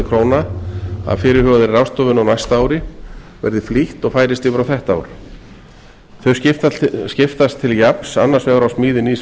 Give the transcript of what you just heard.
króna af fyrirhugaðri ráðstöfun á næsta ári verði flýtt og færist yfir á þetta ár þau skiptast til jafns annars vegar á smíði nýs